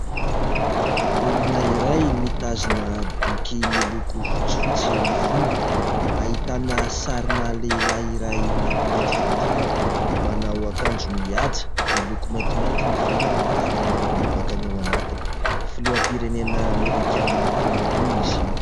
Olona iray mitazona boky miloko fotsifotsy ny fonony, ahitana sarina lehilahy iray maintimainty fihodirana, manao akanjo mihaja miloko maintimainty ny ivelany ary manao lobaka ny ao anatiny ; filoham-pirenena Amerikanina teo aloha izy io.